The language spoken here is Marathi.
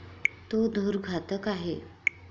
तो धूर घातक आहे.